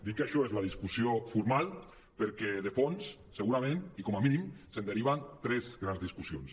dic que això és la discussió formal perquè de fons segurament i com a mínim se’n deriven tres grans discus·sions